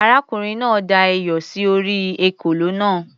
Arákùnrin náà da iyọ̀ sí orí ekòló náà.